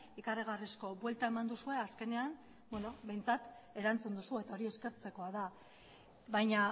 ikaragarrizko buelta eman duzue azkenean behintzat erantzun duzu eta hori eskertzekoa da baina